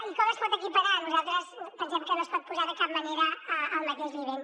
i com es pot equiparar nosaltres pensem que no es pot posar de cap manera al mateix nivell